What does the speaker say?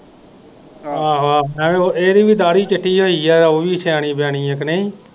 ਇਹ ਨਹੀਂ ਪੀ ਦਾੜੀ ਚਿੱਟੀ ਹੋਈ ਆ ਓਵੀ ਸਿਆਣੀ ਬਿਆਨੀ ਆ ਕੇ ਨਹੀਂ।